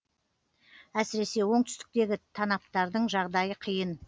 әсіресе оңтүстіктегі танаптардың жағдайы қиын